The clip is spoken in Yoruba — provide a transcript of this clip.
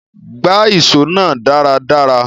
Gbá ìso náà dáradára